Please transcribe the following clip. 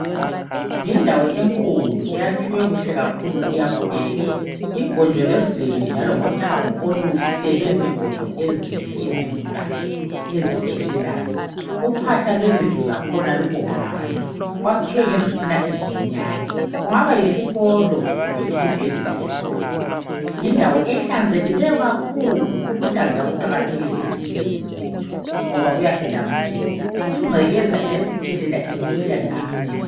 Yindawo enkulu eyakhiwe kuhle kakhulu, iyabukeka. Igonjolozelwe njalo ngothango oluhle lwezigodo ezinhle ezingumdaka, ezitshelelayo. Uphahla lwezindlu zakhona lubomvana kwakhiwe ngezitina ezincinyane, kungaba yisikolo kumbe isibhedlela esikhulu. Yindawo ehlanzekileyo kakhulu. Ukuhlanzeka kuqakathekile ezimpilweni zethu ngoba kuyasilamulela, ingcekeza iyasithelela imikhuhlane eminengi.